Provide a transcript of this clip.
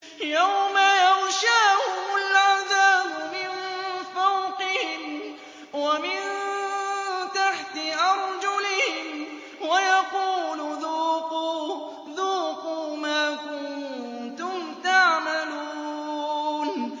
يَوْمَ يَغْشَاهُمُ الْعَذَابُ مِن فَوْقِهِمْ وَمِن تَحْتِ أَرْجُلِهِمْ وَيَقُولُ ذُوقُوا مَا كُنتُمْ تَعْمَلُونَ